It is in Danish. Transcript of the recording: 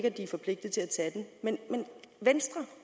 at de er forpligtet til at tage den men venstre